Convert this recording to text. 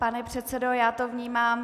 Pane předsedo, já to vnímám.